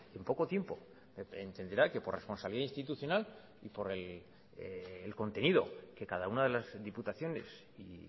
en poco tiempo entenderá que por responsabilidad institucional y por el contenido que cada una de las diputaciones y